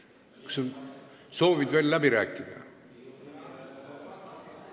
Kas soovid veel läbi rääkida?